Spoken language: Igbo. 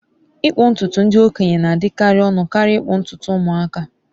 ịkpụ ntutu ndị okenye na-adịkarị ọnụ karịa ịkpụ ntutu ụmụaka